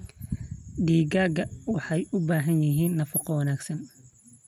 Digaagga waxay u baahan yihiin nafaqo wanaagsan.